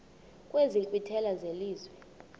kwezi nkqwithela zelizwe